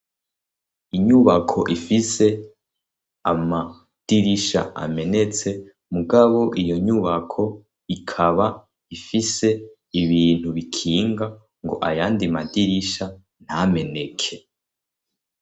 Inyubako ifise amadirisha amenetse, mugabo iyo nyubako ikaba ifise ibintu bikinga ngo ayandi madirisha ntameneke.